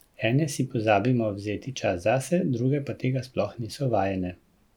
Ene si pozabimo vzeti čas zase, druge pa tega sploh niso vajene.